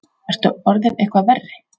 Ertu orðinn eitthvað verri?